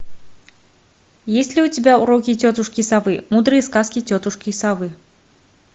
есть ли у тебя уроки тетушки совы мудрые сказки тетушки совы